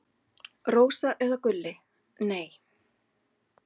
Rósa eða Gulli: Nei.